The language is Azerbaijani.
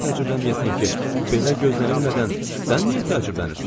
Necə təcrübələnməyəsən ki, belə gözlənilmədən sən niyə təcrübələnirsən?